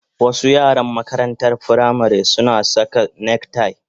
Wasu yaran makarantar firamare suna saka neck tie